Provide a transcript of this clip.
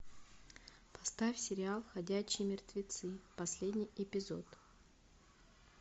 поставь сериал ходячие мертвецы последний эпизод